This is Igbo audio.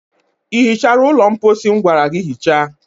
Ị hichara ụlọ mposi m gwara gị hichaa?